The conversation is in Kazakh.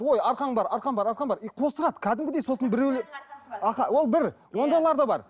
ой арқаң бар арқаң бар арқаң бар и қостырады кәдімгідей сосын біреу ол бір ондайлар да бар